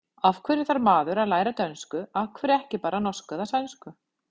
Af hverju þarf maður að læra dönsku, af hverju ekki bara norsku eða sænsku?